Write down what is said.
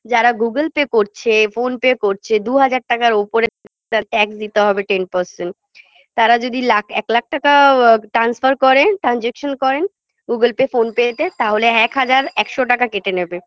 যারা google pay করছে phone pay করছে দুহাজার টাকার উপরে tax দিতে হবে ten percent তারা যদি লাখ এক লাখ টাকাও আ transfer করেন transaction করেন google pay phone pay -তে তাহলে এক হাজার একশ টাকা কেটে নেবে